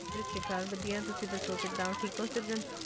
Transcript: ਸਤਿ ਸ੍ਰੀ ਅਕਾਲ ਵਾਦੀਆਂ ਤੁਸੀਂ ਦੱਸੋ ਠੀਕ ਹੋ ਸਾਜਾਂ